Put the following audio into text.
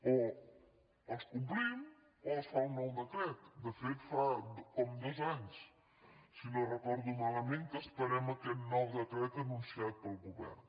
o els complim o es fa un nou decret de fet fa com dos anys si no ho recordo malament que esperem aquest nou decret anunciat pel govern